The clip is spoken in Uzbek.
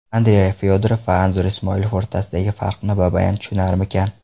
Andrey Fyodorov va Anzur Ismoilov o‘rtasidagi farqni Babayan tushunarmikan?